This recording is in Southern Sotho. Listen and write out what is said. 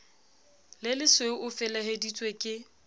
le lesweu o feleheditswe ke